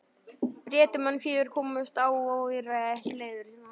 Bretum, en fjögur komust óáreitt leiðar sinnar.